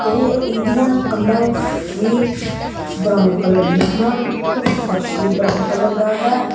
ਤੇ ਇਹਦੀਆਂ ਕੰਧਾਂ ਵੀ ਬਰਾਊਨ ਕਲਰ ਦਿਆਂ ਹਨ ਤੇ ਫ਼ਰਸ਼ ਵੀ ਬਰਾਊਨ ਕਲਰ ਦਾ ਹੈ।